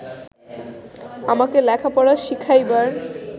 আমাকে লেখাপড়া শিখাইবার